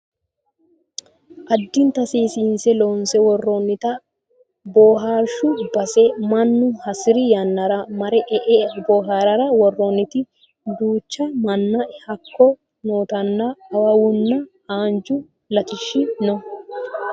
addinta seesinse loonse worrooonita bohaarshu base mannu hasiri yannara mare e"E bohaarara worroonnite duucha minna hakko nootannna awawunna haanju latishshi no